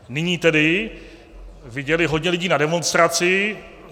Nyní tedy viděli hodně lidí na demonstraci.